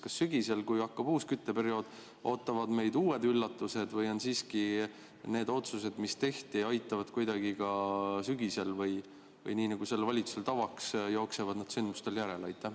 Kas sügisel, kui hakkab uus kütteperiood, ootavad meid uued üllatused või siiski need otsused, mis tehti, aitavad kuidagi juba sügisel või on nii, nagu sellel valitsusel tavaks, et ta jookseb sündmustele järele?